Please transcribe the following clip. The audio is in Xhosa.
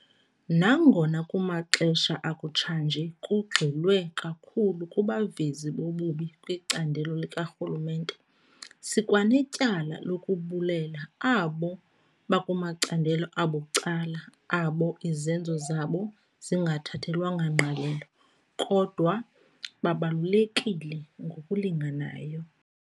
Nangona kumaxesha akutshanje kugxilwe kakhulu kubavezi bobubi kwicandelo likarhulumente, sikwanetyala lokubulela abo bakumacandelo abucala abo izenzo zabo zingathathelwanga ngqalelo, kodwa babalulekile ngokulinganayo.